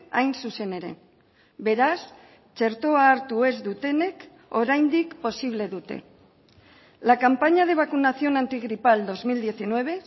hain zuzen ere beraz txertoa hartu ez dutenek oraindik posible dute la campaña de vacunación antigripal dos mil diecinueve